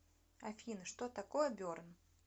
афина что такое берн